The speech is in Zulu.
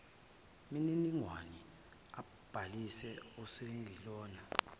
mininingwane ambhalise ongesilona